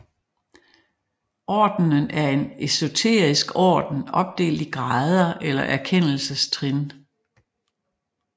Ordenen er en esoterisk orden opdelt i grader eller erkendelsestrin